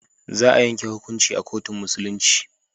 Za a yanke hukuncin a kotun Musulunci.